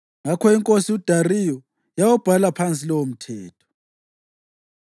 Ngakho inkosi uDariyu yawubhala phansi lowomthetho.